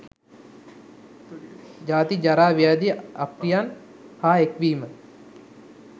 ජාති, ජරා, ව්‍යාධි, අප්‍රියයන් හා එක්වීම